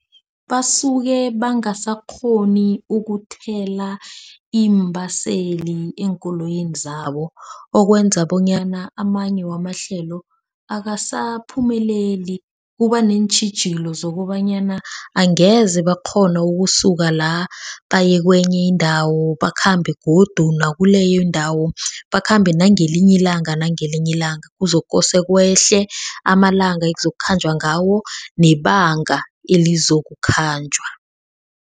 Basuke bangasakghoni ukuthela iimbaseli eenkoloyini zabo. Okwenza bonyana amanye wamahlelo akasaphumeleli. Kuba neentjhijilo zokobanyana angeze bakghona ukusuka la. Baye kwenye indawo bakhambe godu nakuleyo indawo. Bakhambe nangelinye ilanga, nangelinye ilanga. Kuzokosa kwehle amalanga ekuzokukhanjwa ngawo nebanga elizokukhanjwa.